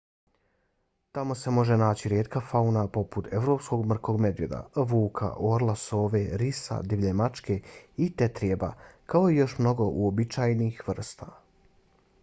tamo se može naći rijetka fauna poput evropskog mrkog medvjeda vuka orla sove risa divlje mačke i tetrijeba kao i još mnogo uobičajenih vrsta